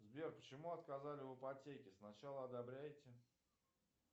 сбер почему отказали в ипотеке сначала одобряете